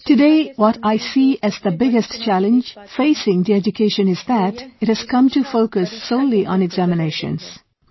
"Today what I see as the biggest challenge facing the education is that it has come to focus solely on examinations